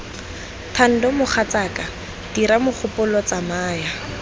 thando mogatsaka diga mogopolo tsamaya